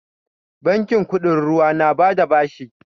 Bankin kuɗin ruwa na ba da bashi